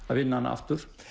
að vinna hana aftur